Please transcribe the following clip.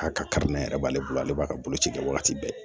A kari ne yɛrɛ b'ale bolo ale b'a ka boloci kɛ wagati bɛɛ